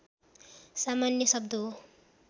सामान्य शब्द हो